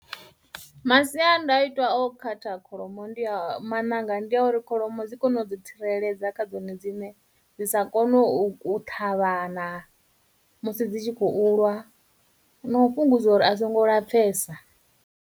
Masiandaitwa o khatha kholomo ndi a, maṋanga ndi a uri kholomo dzi kone u ḓi tsireledza kha dzone dziṋe, dzi sa kone u ṱhavhana musi dzi tshi khou lwa, na u fhungudza uri a songo lapfhesa.